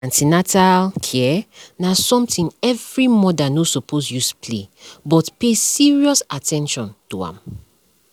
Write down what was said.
an ten atal care na sumtin every mother no suppose use play but pay serious at ten tion to am